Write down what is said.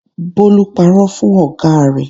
Bólú parọ́ fún ọ̀gá rẹ̀.